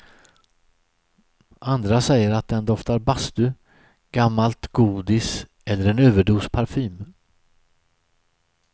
Andra säger att den doftar bastu, gammalt godis eller en överdos parfym.